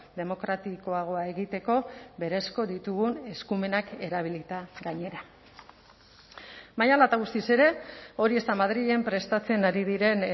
demokratikoagoa egiteko berezko ditugun eskumenak erabilita gainera baina hala eta guztiz ere hori ez da madrilen prestatzen ari diren